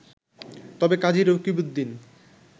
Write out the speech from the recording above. তবে কাজী রকিবউদ্দিন